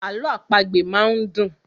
Àlọ àpagbè máa ń dùn.